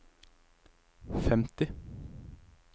femti